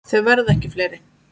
Þau verða ekki fleiri.